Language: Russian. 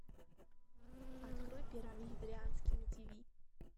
открой первый вегетарианский на тиви